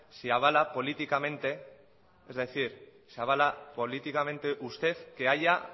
si avala políticamente usted que haya